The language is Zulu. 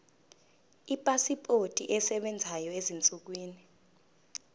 ipasipoti esebenzayo ezinsukwini